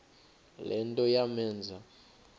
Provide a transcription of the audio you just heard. le nto yamenza